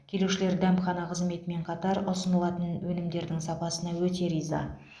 келушілер дәмхана қызметімен қатар ұсынылатын өнімдердің сапасына өте риза